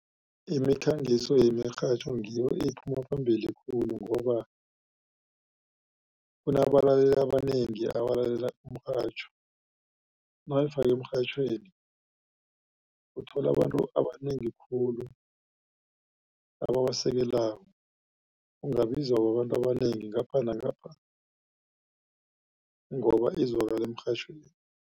Imikhangiso yemirhatjho ngiyo ephuma phambili khulu ngoba kunabalaleli abanengi abalalela umrhatjho. Mawuyifake emrhatjhweni uthola abantu abanengi khulu ababasekelako ungabizwa babantu abanengi ngapha nangapha ngoba izwakala emirhatjhweni.